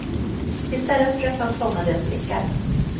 Istället försökte han fånga deras blickar.